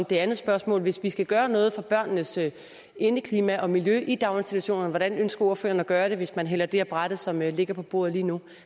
det andet spørgsmål hvis vi skal gøre noget for børnenes indeklima og miljø i daginstitutionerne hvordan ønsker ordføreren så at gøre det hvis man hælder det af brættet som ligger på bordet lige nu